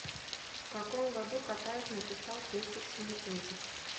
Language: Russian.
в каком году катаев написал цветик семицветик